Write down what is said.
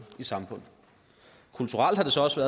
i samfundet kulturelt har det så også